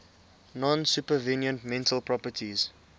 non supervenient mental properties